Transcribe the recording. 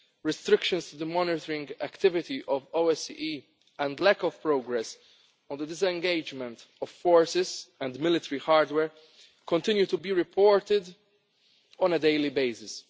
and tanks, restrictions on the OSCE's monitoring activity and lack of progress on the disengagement of forces and military hardware continue to be reported on a daily